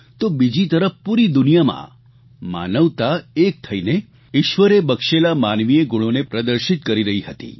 તો બીજી તરફ પૂરી દુનિયામાં માનવતા એક થઇને ઇશ્વરે બક્ષેલા માનવીય ગુણોને પ્રદર્શિત કરી રહી હતી